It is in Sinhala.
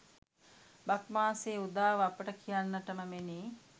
බක් මාසයේ උදාව අපට කියන්නට මෙනි.